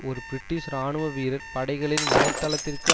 ஒரு பிரிட்டிஷ் இராணுவ வீரர் படைகளின் வலை தளத்திற்கு